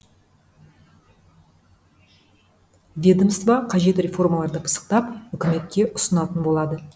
ведомство қажет реформаларды пысықтап үкіметке ұсынатын болады